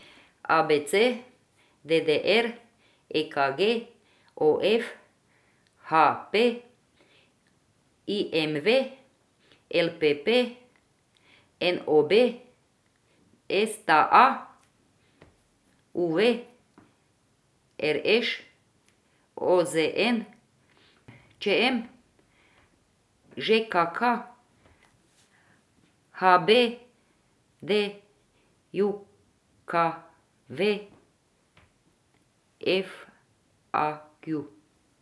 A B C; D D R; E K G; O F; H P; I M V; L P P; N O B; S T A; U V; R Š; O Z N; Č M; Ž K K; H B D J K V; F A Q.